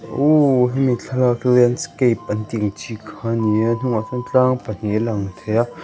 ohh hemi thlalak hi landscape an tih ang chi kha a ni a a hnung ah sawn tlang pahnih a lang thei a.